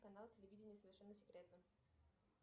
канал телевидения совершенно секретно